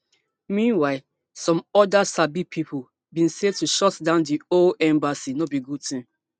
meanwhile some oda sabi pipo bin say to shutdown di whole embassy no be good tin